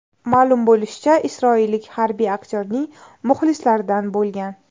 Ma’lum bo‘lishicha, isroillik harbiy aktyorning muxlislaridan bo‘lgan.